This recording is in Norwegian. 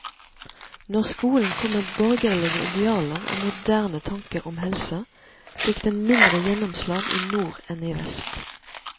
Når skolen kom med borgerlige idealer og moderne tanker om helse, fikk den mindre gjennomslag i nord enn i vest.